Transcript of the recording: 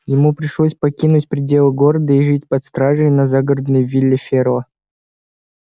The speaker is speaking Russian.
ему пришлось покинуть пределы города и жить под стражей на загородной вилле ферла